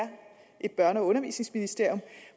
et børne og undervisningsministerium